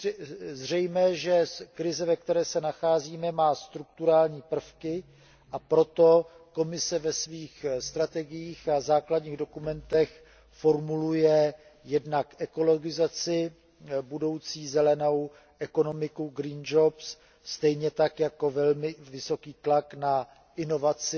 Je zřejmé, že krize, ve které se nacházíme, má strukturální prvky, a proto Komise ve svých strategiích a základních dokumentech formuluje jednak budoucí zelenou ekonomiku, green jobs, stejně tak jako velmi vysoký tlak na inovaci